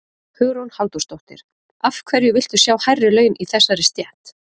Hugrún Halldórsdóttir: Af hverju viltu sjá hærri laun í þessari stétt?